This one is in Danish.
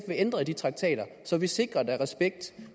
vil ændre i de traktater så vi sikrer at der er respekt